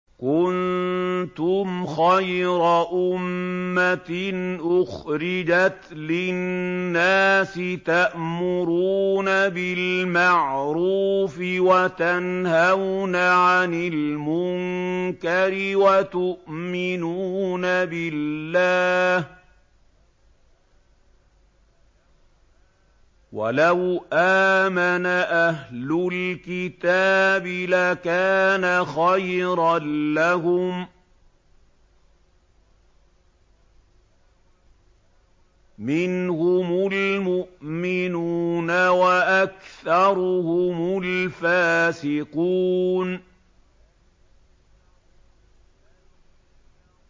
كُنتُمْ خَيْرَ أُمَّةٍ أُخْرِجَتْ لِلنَّاسِ تَأْمُرُونَ بِالْمَعْرُوفِ وَتَنْهَوْنَ عَنِ الْمُنكَرِ وَتُؤْمِنُونَ بِاللَّهِ ۗ وَلَوْ آمَنَ أَهْلُ الْكِتَابِ لَكَانَ خَيْرًا لَّهُم ۚ مِّنْهُمُ الْمُؤْمِنُونَ وَأَكْثَرُهُمُ الْفَاسِقُونَ